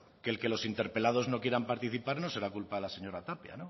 que el que los interpelados no quieran participar no será culpa de la señora tapia